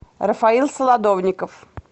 рафаил солодовников